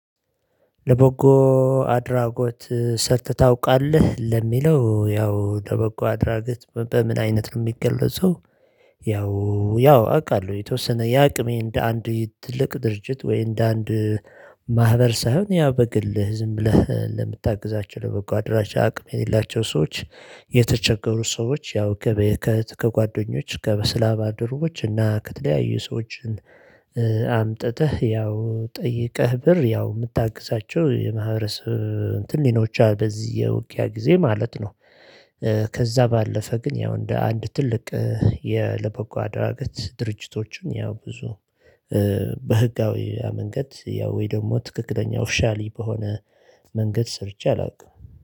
ለበጎ አድራጎት ሰርተህ ታውቃለህ ለሚለው ያው ለበጎ አድራጎት በምን አይነት የሚገለጹ ያው ያው አውቃለሁ የተወሰነ የአቅሜን እንደ አንድ ትልቅ ድርጅት ወይ እንደ አንድ ማህበር ሳይሆን ያው በግልህ ዝም ብለህ ለምታግዛቸው በጎ አድራሻ አቅም የሌላቸው ሰዎች የተቸገሩት ሰዎች ያው ከጓደኞች ከስራ ባርደርቦች እና ከተለያዩ ሰዎችን አምጥተህ ያው ጠይቀህ ብር ያው የምታግዛቸው የማህበረሰብ እንትን ሊኖር በዚህ የውቅያ ጊዜ ማለት ነው። ከዛ ባለፈ ግን ያው እንደ አንድ ትልቅ የለበጎ አድራጎት ድርጅቶችን ያው ብዙ በህጋዊ መንገድ ያው ወይ ደግሞ ትክክለኛ ኦፍሻሊ በሆነ መንገድ ሰርቼ አላውቅም